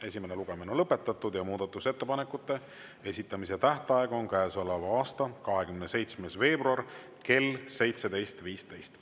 Esimene lugemine on lõpetatud ja muudatusettepanekute esitamise tähtaeg on käesoleva aasta 27. veebruar kell 17.15.